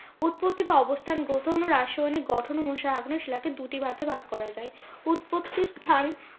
উৎপত্তি বা অবস্থান রাসায়নিক গঠন অনুসারে আগ্নেয় শিলাকে দুটি ভাগে ভাগ করা যায়। উৎপত্তি স্থান